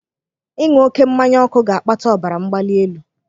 Ịṅụ oke mmanya ọkụ ga-akpata ọbara mgbali elu.